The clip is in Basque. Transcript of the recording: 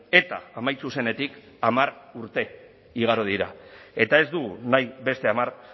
eta amaitu zenetik hamar urte igaro dira eta ez dugu nahi beste hamar